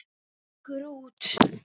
Gengur út.